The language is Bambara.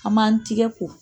An m'an tɛgɛ ko.